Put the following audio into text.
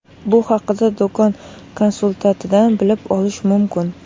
Bu haqda do‘kon konsultantidan bilib olish mumkin.